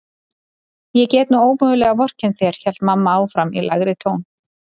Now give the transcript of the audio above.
Ég get nú ómögulega vorkennt þér hélt mamma áfram í lægri tón.